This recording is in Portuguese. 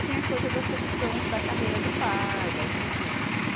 Aí tem a coisa da sedução da carreira do pai, da estrutura.